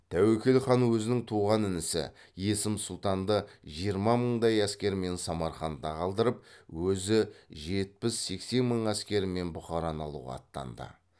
тәуекел хан өзінің туған інісі есім сұлтанды жиырма мыңдай әскермен самарқанда қалдырып өзі жетпіс сексен мың әскерімен бұхараны алуға аттанды